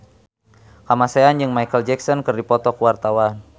Kamasean jeung Micheal Jackson keur dipoto ku wartawan